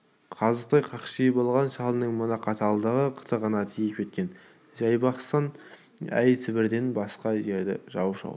қазықтай қақшиып алған шалының мына қаталдығы қытығына тиіп кеткен жайбасқан әй сібірден басқа жерді жау шауып